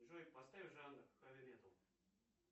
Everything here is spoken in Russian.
джой поставь жанр хэви метал